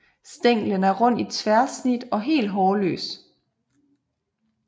Stænglen er rund i tværsnit og helt hårløs